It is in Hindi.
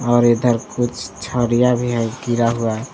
और इधर कुछ छरीया भी है गिरा हुआ।